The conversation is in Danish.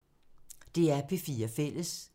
DR P4 Fælles